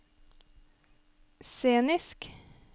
scenisk